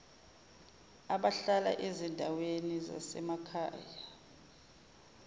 abahlala ezindaweni zasemakhaya